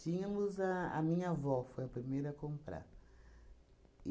Tínhamos a a minha avó, foi a primeira a comprar.